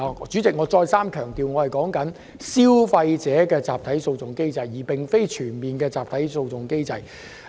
主席，我強調，我說的是消費者集體訴訟機制，而非全面集體訴訟機制。